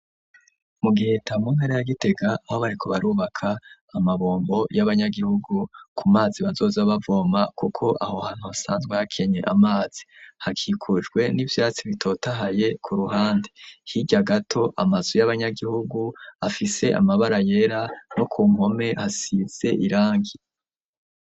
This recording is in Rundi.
Mu Giheta mu ntara ya Gitega aho bariko barubaka amabombo y'abanyagihugu ku mazi bazoza bavoma kuko aho hantu hasanzwe hakenye amazi, hakikujwe n'ivyatsi bitotahaye ku ruhande, hirya gato amazu y'abanyagihugu afise amabara yera no ku mpome hasize irangi.